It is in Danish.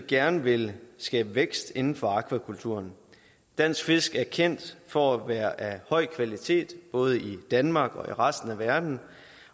gerne vil skabe vækst inden for akvakulturen dansk fisk er kendt for at være af høj kvalitet både i danmark og i resten af verden